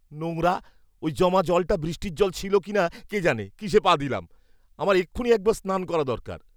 নোংরা! ওই জমা জলটা বৃষ্টির জল ছিল না; কে জানে কিসে পা দিলাম। আমার এক্ষুণি একবার স্নান করা দরকার।